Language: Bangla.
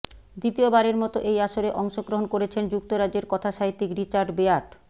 দ্বিতীয়বারের মতো এই আসরে অংশগ্রহণ করেছেন যুক্তরাজ্যের কথাসাহিত্যিক রিচার্ড বেয়ার্ড